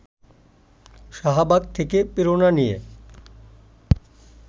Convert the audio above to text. শাহবাগ থেকে প্রেরণা নিয়ে